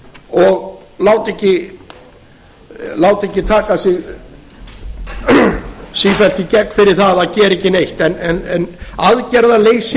og láta ekki taka sig sífellt í gegn fyrir það að gera ekki neitt aðgerðaleysi